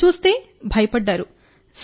నేనంటే భయపడ్డారు